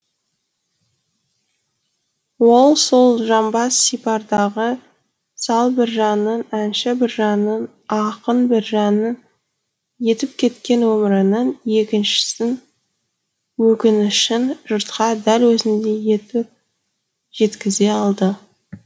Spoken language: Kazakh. ол сол жамбас сипардағы сал біржанның әнші біржанның ақын біржанның етіп кеткен өмірінің өкінішін жұртқа дәл өзіндей етіп жеткізе алды